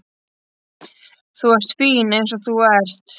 Þú ert fín eins og þú ert.